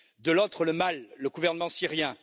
de l'autre, le mal le gouvernement syrien.